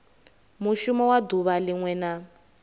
mushumo wa duvha linwe na